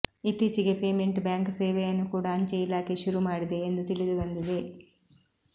ಇತ್ತೀಚಿಗೆ payment bank ಸೇವೆಯನ್ನು ಕೂಡ ಅಂಚೆ ಇಲಾಖೆ ಶುರು ಮಾಡಿದೆ ಎಂದು ತಿಳಿದು ಬಂದಿದೆ